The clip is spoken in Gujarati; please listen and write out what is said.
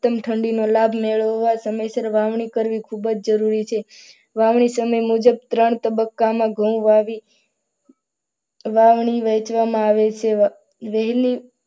તમ ઠંડીનો લાભ મેળવવા સમયસર વાવણી કરવી ખૂબ જ જરૂરી છે. વાવણી સમય મુજબ ત્રણ તબક્કામાં ઘઉં આવી વાવણી વહેંચવામાં આવે છે વહેલી